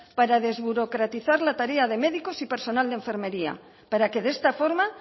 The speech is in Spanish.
para desburocratizar la tarea de médicos y personal de enfermería para que de esta forma